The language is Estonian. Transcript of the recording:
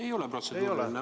Ei ole protseduuriline.